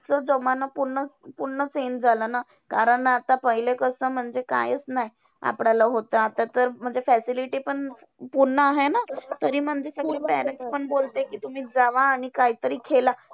तो जमाना पूर्ण पूर्ण change झाला ना कारण आता पहिले कसं म्हणजे कायचं नाही आपल्याला होतं. आता तर म्हणजे facility पण पूर्ण आहे ना. तरी म्हणजे parents पण बोलते कि तुम्ही जावा आणि काहीतरी खेळा.